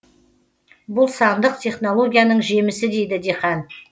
бұл сандық технологияның жемісі дейді диқан